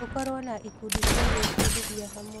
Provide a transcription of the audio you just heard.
Tũkorwo na ikundi cia gwĩbundithia hamwe.